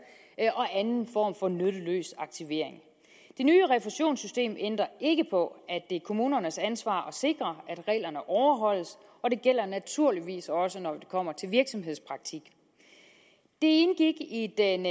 og anden form for nytteløs aktivering det nye refusionssystem ændrer ikke på at det er kommunernes ansvar at sikre at reglerne overholdes og det gælder naturligvis også når det kommer til virksomhedspraktik det indgik i den